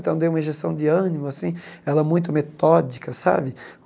Então, deu uma injeção de ânimo, assim, ela muito metódica, sabe?